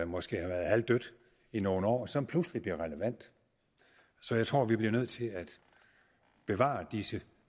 måske har været halvdødt i nogle år som pludselig bliver relevant så jeg tror vi bliver nødt til at bevare disse